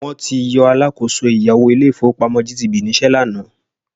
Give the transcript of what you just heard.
Wọ́n ti yọ alákọ̀ọ́so ẹ̀yáwó ilé-ìfowópamọ́ GTB níṣẹ́ lánàá